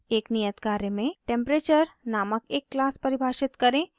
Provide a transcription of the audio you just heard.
एक नियत कार्य में: temperature नामक एक क्लास परिभाषित करें